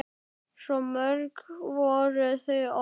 Svo mörg voru þau orð!